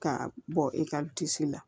Ka bɔ e ka la